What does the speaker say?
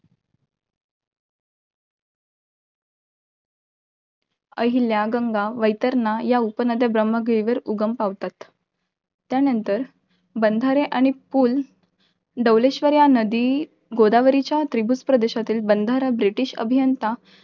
अहिल्या, गंगा वैतरणा या उपनद्या ब्रम्हगिरी वर उगम पावतात. त्यानंतर बंधारे आणि पूल, डौलेश्वर या नदी, गोदावरीच्या त्रिभुजप्रदेशातील बंधारा, ब्रिटीश अभियंता